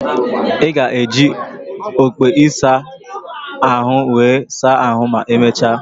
Ị ga-eji okpu ịsa ahụ were saa ahų ma emechaa?